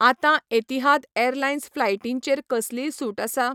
आतां Etihad airlines फ्लायटींचेर कसलीय सूट आसा?